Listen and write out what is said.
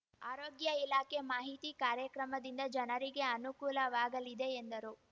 ಆರೋಗ್ಯ ಇಲಾಖೆ ಮಾಹಿತಿ ಕಾರ್ಯಕ್ರಮದಿಂದ ಜನರಿಗೆ ಅನುಕೂಲವಾಗಲಿದೆ ಎಂದರು